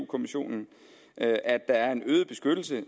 kommissionen at at der er en øget beskyttelse